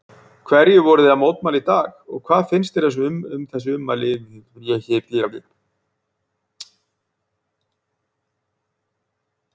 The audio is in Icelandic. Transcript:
Hverju voruð þið að mótmæla í dag og hvað finnst þér um þessi ummæli þingmannsins?